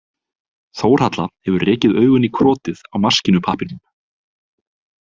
Þórhalla hefur rekið augun í krotið á maskínupappírnum.